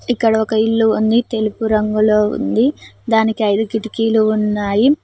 ఇక్కడ ఒక ఇల్లు ఉంది తెలుపు రంగులో ఉంది దానికి ఐదు కిటికీలు ఉన్నాయి.